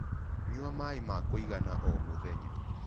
Nyua maĩ ma kũĩgana o mũthenya